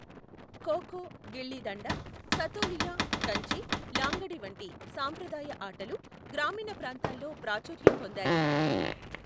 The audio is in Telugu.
ఖో ఖో, గిల్లీ డండా, సతోలియా, కంచె, లాంగడి వంటి సాంప్రదాయ ఆటలు గ్రామీణ ప్రాంతాల్లో ప్రాచుర్యం పొందాయి.